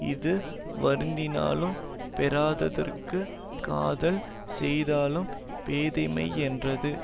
இது வருந்தினாலும் பெறாததற்குக் காதல் செய்தலும் பேதைமையென்றது